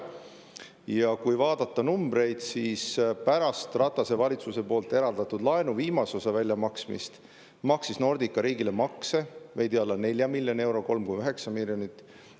Ja kui vaadata numbreid, siis pärast Ratase valitsuse eraldatud laenu viimase osa väljamaksmist maksis Nordica riigile makse veidi alla 4 miljoni euro, 3,9 miljonit eurot.